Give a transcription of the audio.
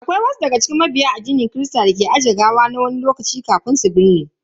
Akwai wasu daga cikin mabiya addinin kirista dake aje gawa na wani tsawon lokaci kafin a binne.